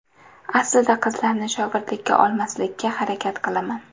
Aslida qizlarni shogirdlikka olmaslikka harakat qilaman.